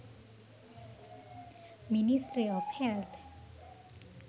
ministry of health